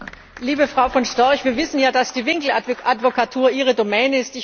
Liebe Frau von Storch, wir wissen ja, dass die Winkeladvokatur Ihre Domäne ist.